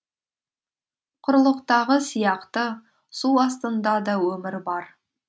құрлықтағы сияқты су астында да өмір бар